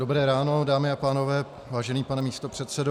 Dobré ráno, dámy a pánové, vážený pane místopředsedo.